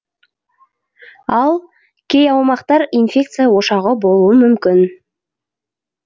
ал кей аумақтар инфекция ошағы болуы мүмкін